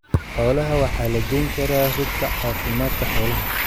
Xoolaha waxa la geyn karaa rugta caafimaadka xoolaha.